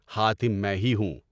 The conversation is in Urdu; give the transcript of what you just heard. حاتم میں ہی ہوں۔